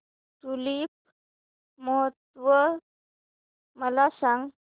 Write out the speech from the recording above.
tulip महोत्सव मला सांग